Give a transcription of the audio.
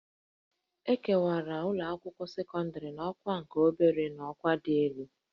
E kewara ụlọakwụkwọ sekọndịrị n'ọkwa nke obere na ọkwa dị elu